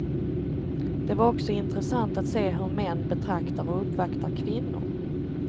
Det var också intressant att se hur män betraktar och uppvaktar kvinnor.